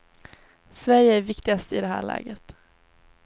Sverige är viktigast i det här läget.